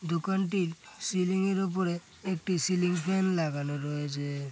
দোকানটির সিলিং -এর ওপরে একটি সিলিং ফ্যান লাগানো রয়েছে।